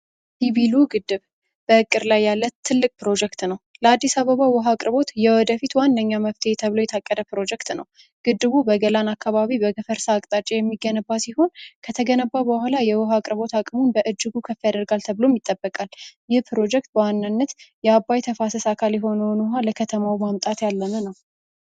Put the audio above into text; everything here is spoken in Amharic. ዲቪሉ ግድብ በቅር ላይ ያለ ትልቅ ፕሮጀክት ነው ለአዲስ አበባ ውሃ አቅርቦት የወደፊት ዋነኛ መፍትሄ ተብሎ የታቀደ ፕሮጀክት ነው። ግድቡ በገላን አካባቢ በገፈርሳ አቅጣጫ የሚገነባ ሲሆን፤ ከተገነባው በኋላ የውሃ አቅርቦት አቅሙ በእጅጉ ከፍ ያደርጋል ተብሎ ይጠበቃል። የፕሮጀክቱ በዋናነት የአባይ ተፋሰስ አካል የሆነውን ውሃ ለከተማው ማምጣት ያለመ ነው።